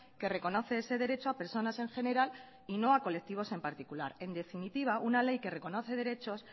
que reconoce ese derecho a personas en general y no a colectivos en particular en definitiva una ley que reconoce derechos